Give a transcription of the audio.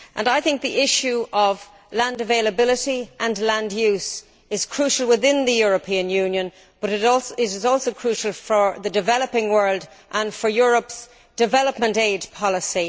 I think the issue of land availability and land use is crucial within the European Union, but it is also crucial for the developing world and for Europe's development aid policy.